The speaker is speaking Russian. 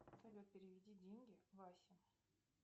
салют переведи деньги васе